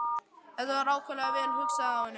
Þetta var ákaflega vel hugsað af honum.